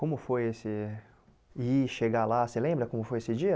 Como foi esse... ir, chegar lá, você lembra como foi esse dia?